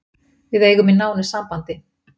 Við eigum í nánu sambandi